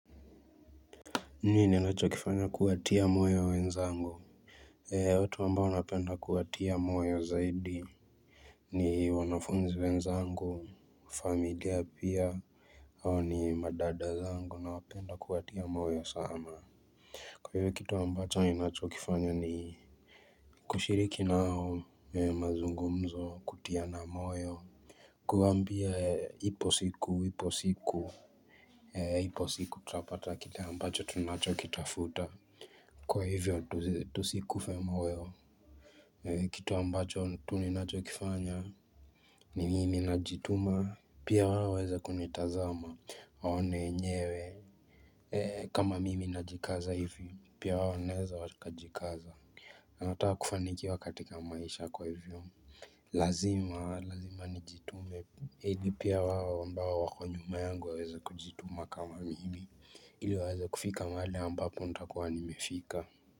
Nini anachokifanya kuwatia moyo wenzangu? Ea watu ambao nawanapenda kuwatia moyo zaidi ni wanafunzi wenzangu, familia pia, au ni madada zangu na wapenda kuwatia moyo sama Kwa hivyo kitu ambacho inachokifanya ni kushiriki nao mazungumzo kutiana moyo kuambia ipo siku, ipo siku, ipo siku tutapata kitu ambacho tunacho kitafuta Kwa hivyo tusikufe moyo Kitu ambacho tu ninacho kifanya ni mimi najituma pia wao waweze kunitazama Waone enyewe kama mimi najikaza hivi Pia wao waweze wakajikaza anataka kufanikiwa katika maisha kwa hivyo Lazima, lazima ni jitume hadi pia wao ambao wako nyuma yangu waweza kujituma kama mimi ili waweza kufika mahali ambapo ntakuwa nimefika.